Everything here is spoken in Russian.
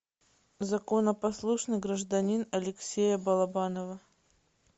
законопослушный гражданин алексея балабанова